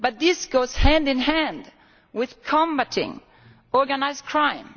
But this goes hand in hand with combating organised crime.